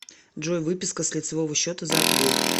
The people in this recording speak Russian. джой выписка с лицевого счета за апрель